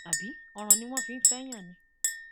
àbí ọràn ni wọn fi ń fẹẹyàn ni